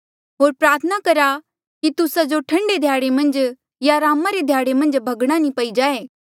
होर प्रार्थना करा कि तुस्सा जो ठंडे ध्याड़े मन्झ या अरामा रे ध्याड़े भगणा नी पई जाए